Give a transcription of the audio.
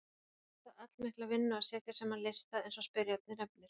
Það mundi kosta allmikla vinnu að setja saman lista eins og spyrjandi nefnir.